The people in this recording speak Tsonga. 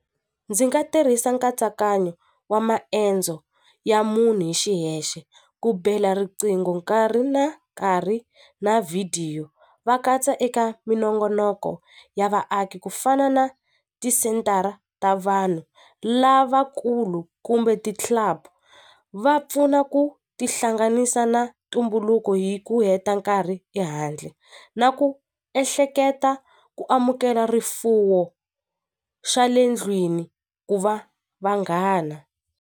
Ndzi nga tirhisa nkatsakanyo wa maendzo ya munhu hi xiyexe ku bela riqingho nkarhi na nkarhi na vhidiyo va katsa eka minongonoko ya vaaki ku fana na ti sentara ta vanhu lavakulu kumbe ti va pfuna ku tihlanganisa na ntumbuluko hi ku heta nkarhi ehandle na ku ehleketa ku amukela rifuwo xa le ndlwini ku va vanghana.